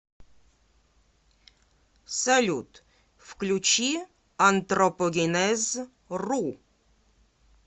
салют включи антропогенез ру